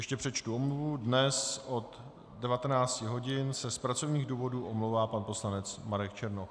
Ještě přečtu omluvu: dnes od 19 hodin se z pracovních důvodů omlouvá pan poslanec Marek Černoch.